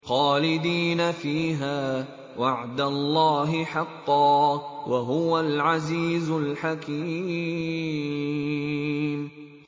خَالِدِينَ فِيهَا ۖ وَعْدَ اللَّهِ حَقًّا ۚ وَهُوَ الْعَزِيزُ الْحَكِيمُ